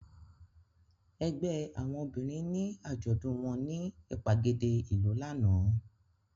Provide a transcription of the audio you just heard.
Ẹgbẹ́ àwọn obìnrin ni àjọ̀dún wọn ní ìgbàgede ìlú lánàá.